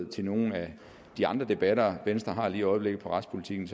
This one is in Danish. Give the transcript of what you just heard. til nogle af de andre debatter venstre har lige i øjeblikket om retspolitikken